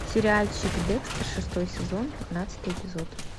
сериальчик декстер шестой сезон пятнадцатый эпизод